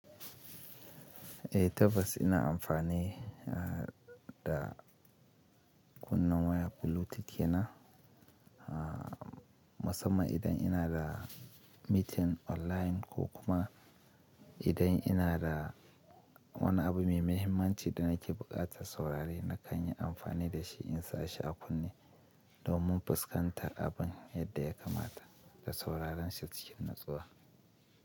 Eh tabbas ina amfani da kunna waya Bluetooth dina, musamman idan ina da meeting online ko kuma idan ina da wani abu mai mahimmanci da nake buƙatar saurari na kan yi amfani da shi in sa shi a kunne domin fuskantar abin yadda ya kamata da sauraron shi cikin natsuwa.